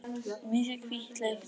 Í miðju hvítleitt kvars.